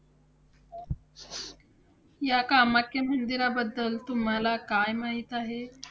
या कामाख्या मंदिराबद्दल तुम्हाला काय माहिती आहे?